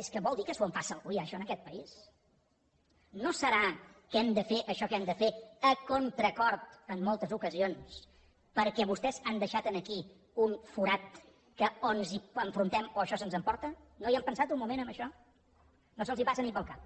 és que vol dir que s’ho empassa algú ja això en aquest país no deu ser que hem de fer això que hem de fer a contracor en moltes ocasions perquè vostès han deixat aquí un forat que o ens hi enfrontem o això se’ns emporta no hi han pensat un moment en això no se’ls passa ni pel cap